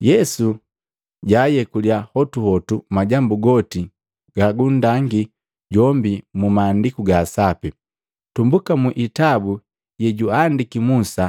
Yesu jaayekulia hotuhotu majambu goti gagundangii jombi mu Maandiku ga Sapi, tumbuka mu itabu yejuandiki Musa